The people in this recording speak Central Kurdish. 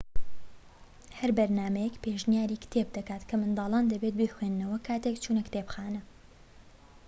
هەر بەرنامەیەک پێشنیاری کتێب دەکات کە منداڵان دەبێت بیخوێننەوە کاتێك چوونە کتێبخانە